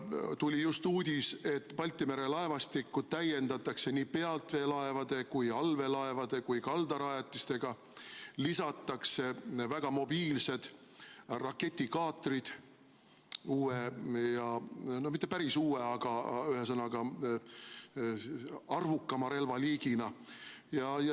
Tuli just uudis, et Balti mere laevastikku täiendatakse nii pealveelaevade, allveelaevade kui ka kaldarajatistega, lisatakse väga mobiilsed raketikaatrid uue või mitte päris uue, aga arvukama relvaliigina.